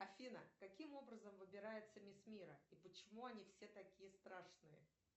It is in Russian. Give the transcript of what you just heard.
афина каким образом выбирается мисс мира и почему они все такие страшные